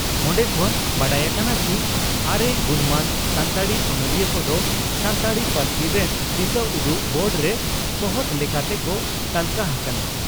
ᱚᱱᱰᱮ ᱠᱷᱚᱱ ᱵᱟᱰᱟᱭ ᱟᱠᱟᱱᱟ ᱪᱤ ᱟᱨᱮ ᱜᱩᱱᱢᱟᱱ ᱥᱟᱱᱛᱟᱲᱤ ᱚᱱᱚᱞᱤᱭᱟᱹ ᱠᱚᱫᱚ ᱥᱟᱱᱛᱟᱲᱤ ᱯᱟᱹᱨᱥᱤ ᱨᱮᱱ ᱫᱤᱥᱟᱹᱩᱫᱩᱜ ᱵᱳᱨᱰᱨᱮ ᱥᱚᱦᱛ ᱞᱮᱠᱟ ᱛᱮᱠᱚ ᱛᱟᱹᱞᱠᱟᱹ ᱦᱟᱠᱟᱱᱟ ᱾